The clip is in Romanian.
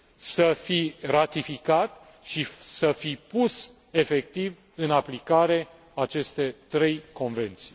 să fi ratificat și să fi pus efectiv în aplicare aceste trei convenții.